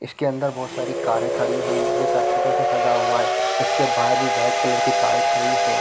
इसके अंदर बहुत सारी कारे खड़ी है जो सर्किटों से सजा हुआ है इसके बाहर भी वाइट कलर की कारे खड़ी है।